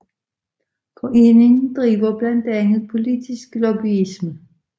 Foreningen driver blandt andet politisk lobbyisme